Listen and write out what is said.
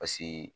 Paseke